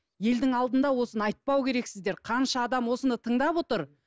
елдің алдында осыны айтпау керексіздер қанша адам осыны тыңдап отыр